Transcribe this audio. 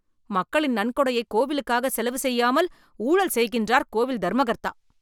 மக்களின் நன்கொடையை கோவிலுக்காக செலவு செய்யாமல் ஊழல் செய்கின்றார் கோவில் தர்மகர்த்தா.